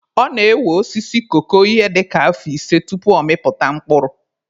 Ọ na-ewe osisi koko ihe dịka afọ ise tupu ọ mịpụta mkpụrụ.